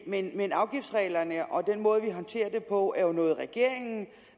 men men afgiftsreglerne og den måde vi håndterer det på er jo noget regeringen